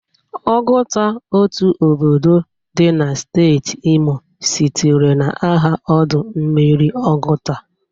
Oguta, otu obodo dị na steeti Imo, sitere na aha ọdụ mmiri Ọgụta.